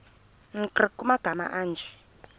nkr kumagama anje